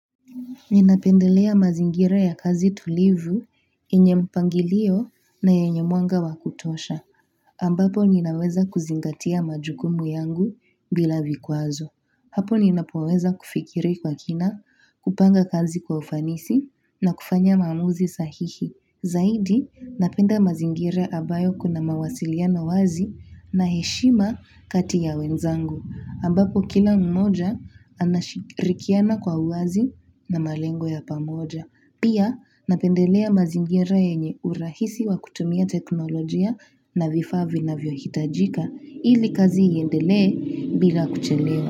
Ninapendelea mazingira ya kazi tulivu yenye mpangilio na yenye mwanga wa kutosha, ambapo ninaweza kuzingatia majukumu yangu bila vikwazo. Hapo ninapoweza kufikiri kwa kina, kupanga kazi kwa ufanisi na kufanya maamuzi sahihi. Zaidi, napenda mazingira ambayo kuna mawasiliano wazi na heshima kati ya wenzangu, ambapo kila mmoja anashirikiana kwa uwazi na malengo ya pamoja. Pia, napendelea mazingira yenye urahisi wa kutumia teknolojia na vifaa vinavyohitajika, ili kazi iendelee bila kuchelewa.